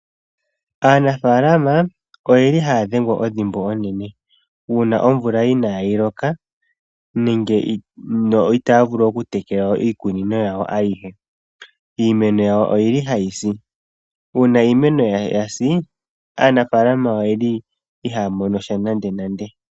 Aanafalama oyeli haya dhengwa ondhimbo onene uuna omvula inayi loka no itaya vulu oku tekela iikunino yawo ayihe. Iimeno yawo oyili hayi si uuna iimeno yawo yasi aanafalama oyeli ihaya monosha nande nande.